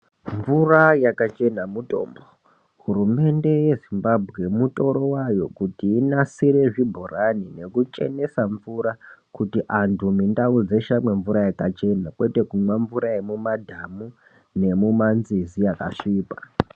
Mvura yakachena mutombo. Hurumende yeZimbabwe mutoro wayo kuti inasire zvibhorani nekuchenesa mvura kuti antu mundau dzeshe amwe mvura yakachena ,kwete kumwira mumadhamu nemumanzizi akasvipa.